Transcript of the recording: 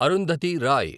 Arundhati Roy